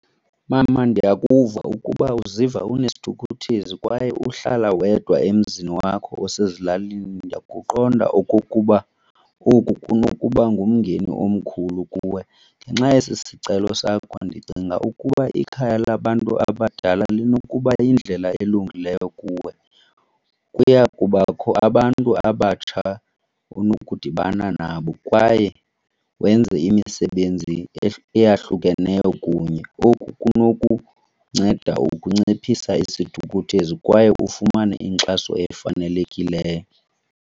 Mama, ndiyakuva ukuba uziva unesithukuthezi kwaye uhlala wedwa emzini wakho osezilalini ndiyakuqonda okokuba oku kunokuba ngumngeni omkhulu kuwe. Ngenxa yesi sicelo sakho ndicinga ukuba ikhaya labantu abadala linokuba yindlela elungileyo kuwe. Kuya kubakho abantu abatsha onokudibana nabo kwaye wenze imisebenzi eyahlukeneyo kunye. Oku kunokunceda ukunciphisa isithukuthezi kwaye ufumane inkxaso efanelekileyo.